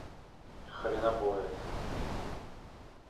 хренобоец